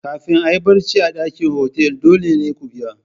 Kafin a yi barci a dakin otal dole ne ku biya.